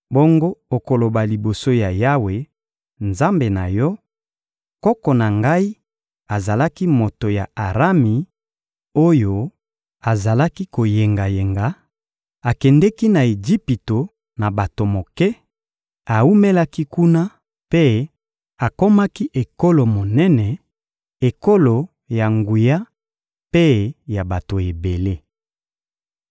Bongo okoloba liboso ya Yawe, Nzambe na yo: «Koko na ngai azalaki moto ya Arami oyo azalaki koyengayenga; akendeki na Ejipito na bato moke, awumelaki kuna mpe akomaki ekolo monene, ekolo ya nguya mpe ya bato ebele.